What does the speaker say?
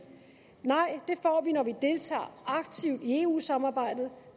nej det får vi når vi deltager aktivt i eu samarbejdet